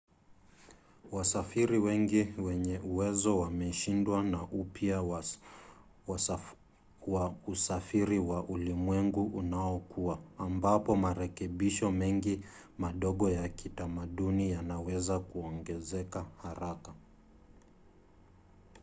wasafiri wengi wenye uwezo wameshindwa na upya wa usafiri wa ulimwengu unaokua ambapo marekebisho mengi madogo ya kitamaduni yanaweza kuongezeka haraka